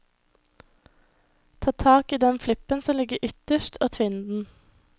Ta tak i den flippen som ligger ytterst og tvinn den.